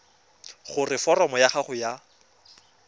gore foromo ya gago ya